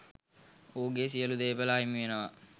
ඔහුගේ සියලු දේපල අහිමි වෙනවා.